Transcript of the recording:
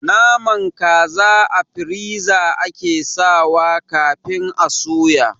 Naman kaza a firiza ake sawa kafin a suya